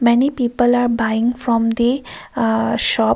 many people are buying from the uh shop.